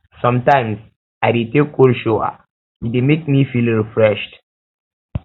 sometimes i dey take cold shower e dey make me feel refreshed